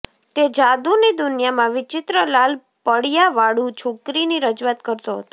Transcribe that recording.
તે જાદુની દુનિયામાં વિચિત્ર લાલ પળિયાવાળું છોકરીની રજૂઆત કરતો હતો